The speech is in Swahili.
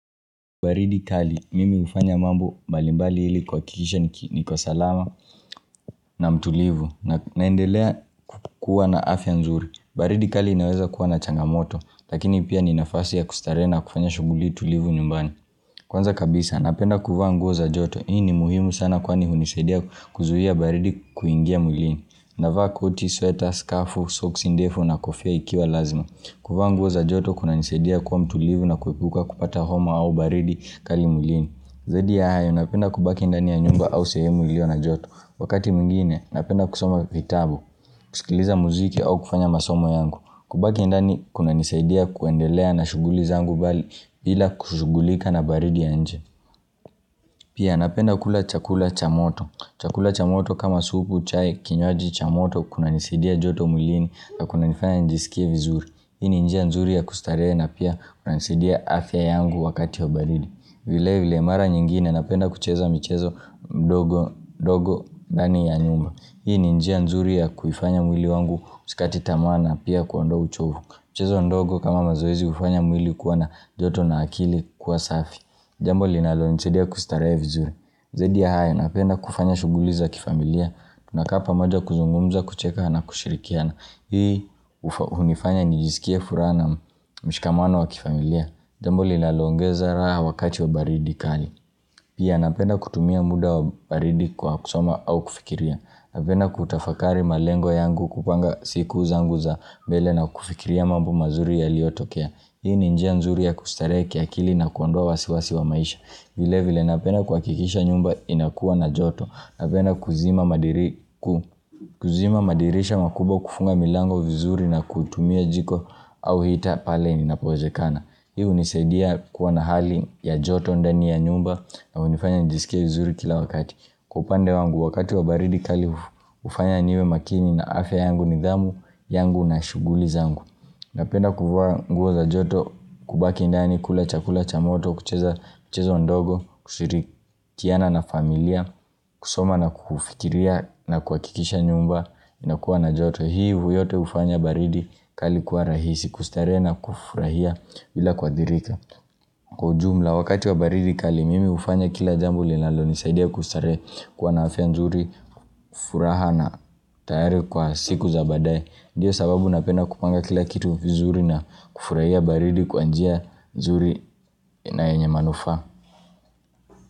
Baridi tali, mimi hufanya mambo mbalimbali ili kuhakikisha niki niko salama na mtulivu na naendelea kuwa na afya nzuri. Baridi kali inaweza kuwa na'changamoto, lakini pia ni nafasi ya kustarehe na kufanya shughuli tulivu nyumbani. Kwanza kabisa, napenda kuvaa nguo za joto. Hii ni muhimu sana kwani hunisadia kuzuia baridi kuingia mwilini. Navaa, koti, sweta, skafu, socks ndefu na kofia ikiwa lazima. Kuvaa nguo za joto kunanisadia kwa mtulivu na kuepuka kupata homa au baridi kali mwilini. Zidi ya hayo, napenda kubaki ndani ya nyumba au sehemu ilio na joto. Wakati mwingine, napenda kusoma vitabu, kusikiliza muziki au kufanya masomo yangu. Kubaki ndani, kunanisaidia kuendelea na shughuli zangu bali, bila kushughulika na baridi ya nje. Pia, napenda kula chakula cha moto. Chakula cha moto kama supu, chai, kinywaji, cha moto, kunanisaidia joto mwilini, na kunanifanya nijisikie vizuri. Hii ni njia nzuri ya kustarehe na pia, kunanisaidia afya yangu wakati ya baridi. Vile vile mara nyingine napenda kucheza mchezo mdogo ndogo ndani ya nyumba Hii ni njia nzuri ya kuifanya mwili wangu usikate tamaa na pia kuondoa uchovu mchezo mdogo kama mazoezi hufanya mwili kuwa na joto na akili kuwa safi Jambo linalonisaidia kustarehe vizuri Zaidi ya hayo napenda kufanya shughuli za kifamilia Tunakaa pamoja kuzungumza kucheka na kushirikiana Hii hunifanya nijisikia furaha na mshikamano wa kifamilia Jambo linaloongeza raha wakati wa baridi kali. Pia napenda kutumia muda wa baridi kwa kusoma au kufikiria. Napenda kutafakari malengo yangu kupanga siku zangu za mbele na kufikiria mambo mazuri yaliyotokea. Hii ni njia nzuri ya kustarehe kiakili na kuondoa wasiwasi wa maisha. Vile vile napenda kuhakikisha nyumba inakuwa na joto. Napenda kuzima madirisha makubwa kufunga milango vizuri na kutumia jiko au hita pale ninapowezekana. Hii hunisadia kuwa na hali ya joto ndani ya nyumba na hunifanya nijisikie vizuri kila wakati Kwa upande wangu wakati wa baridi kali hufanya niwe makini na afya yangu nidhamu yangu na shughuli zangu Napenda kuvaa nguo za joto kubaki ndani kula chakula cha moto kucheza kucheza ndogo kushirikiana na familia kusoma na kufikiria na kuhakikisha nyumba inakuwa na joto hii huyote hufanya baridi kali kwa rahisi kustarehe na kufurahia bila kuadhirika. Kwa jumla wakati wa baridi kali mimi hufanya kila jambo linalonisaidia kustarehe kwa na afya nzuri kufuraha na tayari kwa siku za baadae. Ndiyo sababu napenda kupanga kila kitu vizuri na kufurahia baridi kwa njia nzuri na yenye manufaa.